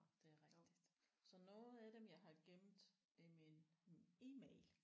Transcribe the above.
Det er rigtigt. Så noget af dem jeg har gemt i min email